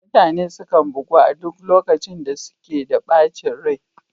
Mutane sukan bugu a duk lokacin da suke da ɓacin rai